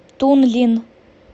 тунлин